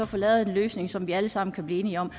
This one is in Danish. få lavet en løsning som vi alle sammen kan blive enige om og